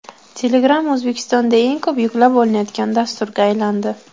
Telegram O‘zbekistonda eng ko‘p yuklab olinayotgan dasturga aylandi.